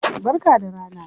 Barka da rana.